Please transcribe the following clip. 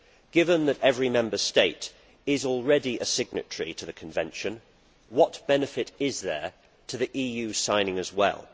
Given that every Member State is already a signatory to the convention, what benefit is there to the EU signing as well?